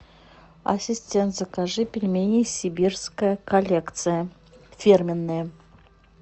ассистент закажи пельмени сибирская коллекция фирменные